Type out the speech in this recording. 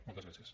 moltes gràcies